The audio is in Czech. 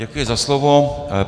Děkuji za slovo.